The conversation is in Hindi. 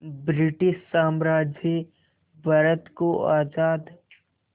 ब्रिटिश साम्राज्य भारत को आज़ाद